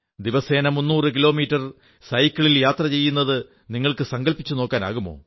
ദിവസേന 300 കിലോമീറ്റർ സൈക്കിളിൽ യാത്ര നിങ്ങൾക്കു സങ്കല്പിച്ചു നോക്കാവുന്നതാണ്